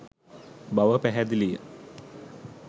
බව පැහැදිලිය